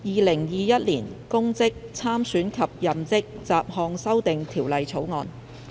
《2021年公職條例草案》。